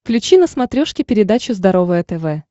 включи на смотрешке передачу здоровое тв